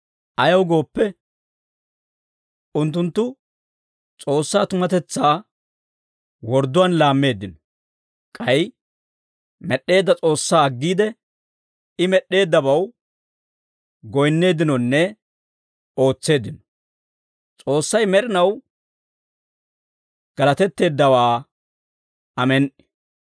Ayaw gooppe, unttunttu S'oossaa tumatetsaa wordduwaan laammeeddino; k'ay med'd'eedda S'oossaa aggiide, I med'eeddabaw goyinneeddinonne ootseeddino. S'oossay med'inaw galatetteeddawaa. Amen"i.